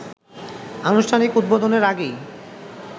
আনুষ্ঠানিক উদ্বোধনের আগেই